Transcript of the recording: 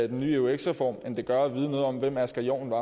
den nye eux reform end det gør at vide noget om hvem asger jorn var